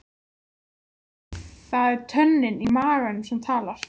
Henrik, hvað er í dagatalinu mínu í dag?